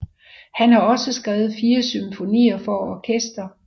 Han har også skrevet 4 symfonier for orkester